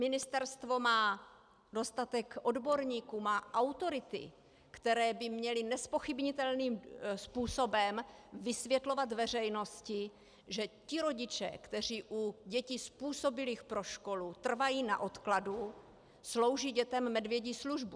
Ministerstvo má dostatek odborníků, má autority, které by měly nezpochybnitelným způsobem vysvětlovat veřejnosti, že ti rodiče, kteří u dětí způsobilých pro školu trvají na odkladu, slouží dětem medvědí službu.